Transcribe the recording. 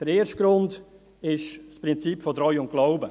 Der erste Grund ist das Prinzip von Treu und Glauben.